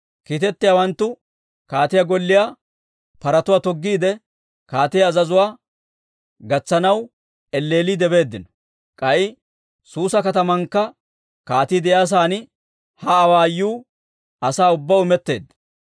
Kiitettiyaawanttuu kaatiyaa golliyaa paratuwaa toggiide, kaatiyaa azazuwaa gatsanaw elleelliidde beeddino. K'ay Suusa katamankka kaatii de'iyaa saan ha awaayuu asaa ubbaw imetteedda.